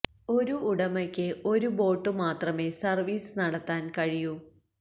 ഒരു ഉടമയ്ക്ക് ഒരു ബോട്ട് മാത്രമെ സർവീസ് നടത്താൻ കഴിയൂ